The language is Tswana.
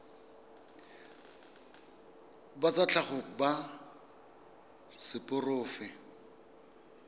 ba tsa tlhago ba seporofe